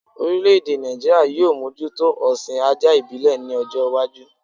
Orílẹ̀-èdè Nàìjíríà yóò mójútó ọ̀sìn ajá ìbílẹ̀ ní ọjọ́-iwájú.